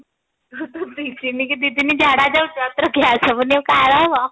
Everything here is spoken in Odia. ଆଉ ତୁ ଦି ଦିନ କୁ ଦି ଦିନ ଝାଡା ଯାଉଛୁ ଆଉ ତୋର gas ହେବନି ଆଉ କାହାର ହେବ